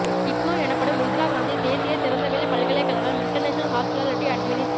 IGNOU எனப்படும் இந்திரா காந்தி தேசிய திறந்தவெளி பல்கலைக்கழகம் இன்டர்நேஷனல் ஹாஸ்பிடாலிடி அட்மினிஸ்டி